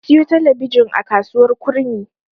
Na siyo talabijin a kasuwar Kurmi.